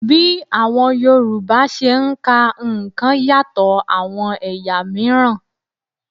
Bí àwọn Yorùbá ṣe ń ka nǹkan yàtọ̀ àwọn ẹ̀yà miran